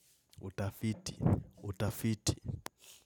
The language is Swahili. Utafiti, utafiti.